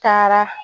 Taara